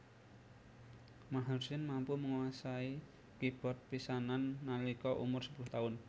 Maher Zain mampu nguasani keybord pisanan nalika umur sepuluh taun